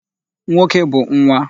Nwoke bụ nwa.